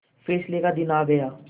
फैसले का दिन आ गया